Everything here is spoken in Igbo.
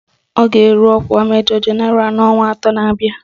Ọ ga-eru ọkwa Majọ Jenaralụ n'ọnwa atọ na-abịa